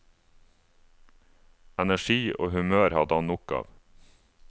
Energi og humør hadde han nok av.